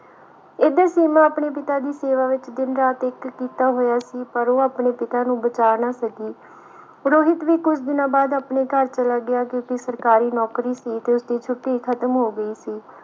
ਇਥੇ ਸੀਮਾ ਆਪਣੀ ਪਿਤਾ ਦੀ ਸੇਵਾ ਵਿਚ ਦਿਨ ਰਾਤ ਇਕ ਕੀਤਾ ਹੋਇਆ ਸੀ ਪਰ ਉਹ ਆਪਣੇ ਪਿਤਾ ਨੂੰ ਬਚਾ ਨਾ ਸਕੀ ਰੋਹਿਤ ਵੀ ਕੁਝ ਦਿਨਾਂ ਆਪਣੇ ਘਰ ਚਲਾ ਗਿਆ ਕਿਉਕਿ ਉਸਦੀ ਸਰਕਾਰੀ ਨੌਕਰੀ ਸੀ ਤੇ ਉਸਦੀ ਛੁੱਟੀ ਖਤਮ ਹੋ ਗਈ ਸੀ